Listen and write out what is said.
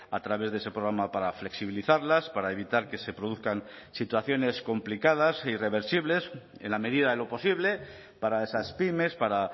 a través de ese programa para flexibilizarlas para evitar que se produzcan situaciones complicadas irreversibles en la medida de lo posible para esas pymes para